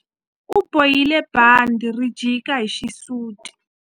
U bohile bandhi ri jika hi xisuti.